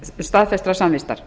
staðfestrar samvistar